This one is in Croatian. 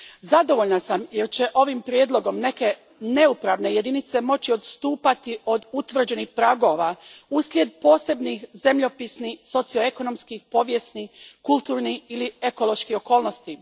Zadovoljna sam jer će ovim prijedlogom neke neupravne jedinice moći odstupati od utvrđenih pragova uslijed posebnih zemljopisnih, socioekonomskih, povijesnih, kulturnih ili ekoloških okolnosti.